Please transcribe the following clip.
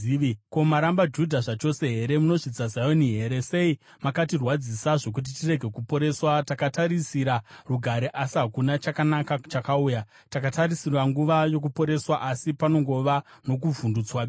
Ko, maramba Judha zvachose here? Munozvidza Zioni here? Sei makatirwadzisa zvokuti tirege kuporeswa? Takatarisira rugare asi hakuna chakanaka chakauya, takatarisira nguva yokuporeswa asi panongova nokuvhundutswa bedzi.